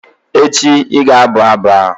echi, ị ga-abụ abụ a!